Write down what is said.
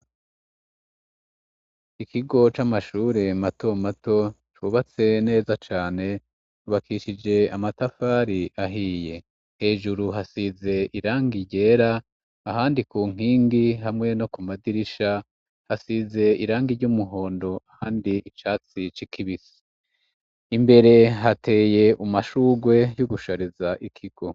Ikigo c'amashure mato mato, cubatse neza cane, cubakishije amatafari ahiye, hejuru hasize irangi ryera, ahandi ku nkingi hamwe no ku madirisha hasize irangi ry'umuhondo, ahandi icatsi kibisi, imbere hateye umashugwe y'ugushariza ikigo.